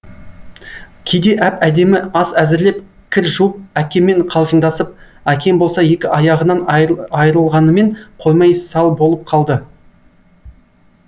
кейде әп әдемі ас әзірлеп кір жуып әкеммен қалжыңдасып әкем болса екі аяғынан айырылғанымен қоймай сал болып қалды